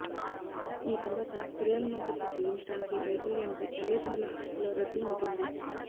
ఈ తరువాత పిల్లల మద్దతు చెల్లించటానికి వైఫల్యానికి తల్లిదండ్రుల హక్కుల రద్దు ఉంటుంది